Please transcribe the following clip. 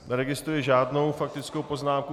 Neregistruji žádnou faktickou poznámku.